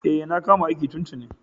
E, na kama aiki tun tuni.